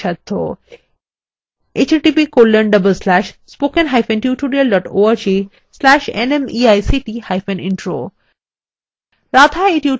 এই বিষয়ে বিস্তারিত তথ্য এই link প্রাপ্তিসাধ্য